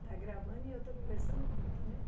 Está gravando e eu estou conversando muito, né?